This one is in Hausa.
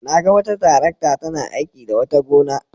Na ga wata tarakta tana aiki a wata gona.